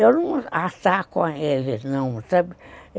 Eu não ataco a ele, não, sabe?